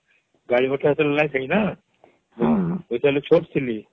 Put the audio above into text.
ଗାଡି ମଟର ସେତେବେଳେ ନାଇଁ ସେଇ ନ ହଁ ହଁ ମୁଁ ସେତେବେଳେ ଛୋଟ ଥିଲି